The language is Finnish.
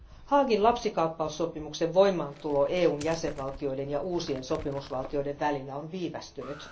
Haagin lapsikaappaussopimuksen voimaantulo EUn jäsenvaltioiden ja uusien sopimusvaltioiden välillä on viivästynyt.